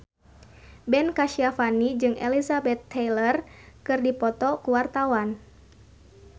Ben Kasyafani jeung Elizabeth Taylor keur dipoto ku wartawan